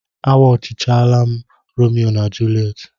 Agwuchaala m Romeo na Julet.